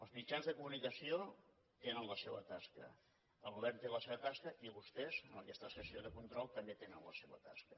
els mitjans de comunicació tenen la seua tasca el govern té la seva tasca i vostès en aquesta sessió de control també tenen la seua tasca